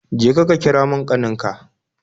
Je ka, ka kira mun kanin ka